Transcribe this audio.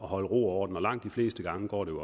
holde ro og orden og langt de fleste gange går det